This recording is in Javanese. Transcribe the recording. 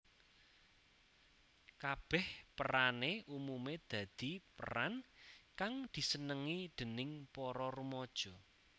Kabèh perané umumé dadi peran kang disenengi déning para rumaja